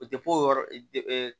O tɛ foyi yɔrɔ de